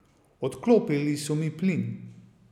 Odklopili so mi plin.